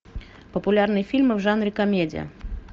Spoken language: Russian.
популярные фильмы в жанре комедия